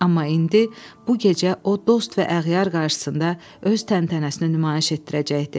Amma indi, bu gecə o, dost və əğyar qarşısında öz təntənəsini nümayiş etdirəcəkdi.